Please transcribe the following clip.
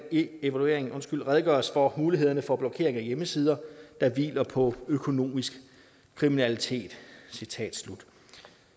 i evalueringen redegøres for mulighederne for blokering af hjemmesider der hviler på økonomisk kriminalitet citat slut